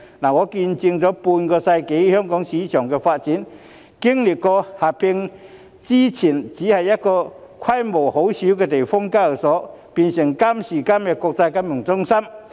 我見證了半個世紀香港證券市場的發展，在四會合併前，香港只有規模細小的地方性交易所，但今時今日香港已經成為國際金融中心。